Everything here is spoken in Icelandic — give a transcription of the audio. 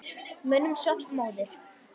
Mönnum svall móður.